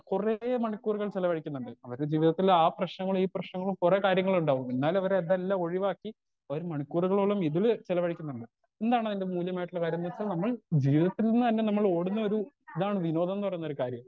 കൊറേ മണിക്കൂറുകൾ ചെലവഴിക്കുന്നുണ്ട് അവരെ ജീവിതത്തിൽ ആ പ്രേശ്നങ്ങൾ ഈ പ്രേശ്നങ്ങൾ കൊറേ കാര്യങ്ങളിണ്ട് അപ്പൊ പിന്നാലെ ഇവര് ഇതെല്ലാ ഒഴിവാക്കി ഒരു മണികൂറുകളോളം ഇതിൽ ചെലവഴിക്കുന്നുണ്ട് എന്നാണ് അയിന്റെ മൂല്യമായിട്ടുള്ള കാര്യം ന്ന്വെച്ചാൽ നമ്മൾ ജീവിതത്തീന്ന് തന്നെ നമ്മൾ ഓടുന്നൊരു ഇതാണ് വിനോദം ന്ന് പറയുന്ന ഒരു കാര്യം